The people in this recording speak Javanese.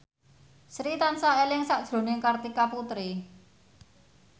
Sri tansah eling sakjroning Kartika Putri